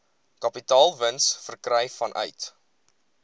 kapitaalwins verkry vanuit